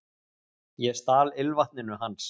Ég stal ilmvatninu hans